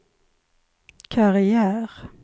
karriär